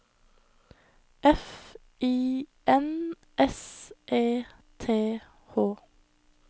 F I N S E T H